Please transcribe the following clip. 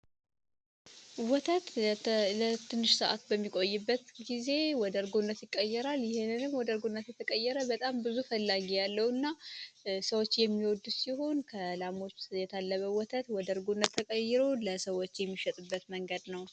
ወተት ለትንሽ ሰዓት በሚቆይበት ጊዜ ወደ እርጎ ይቀየራል ይህንንም ወደ እርጎ በጣም ብዙ ፈላጊ ያለው እና ሰዎች የሚወዱት ሲሆን የታለበ ወተት ወደ እርጎነት ተቀይሮ ለሰዎች የሚሸጥበት መንገድ ነው።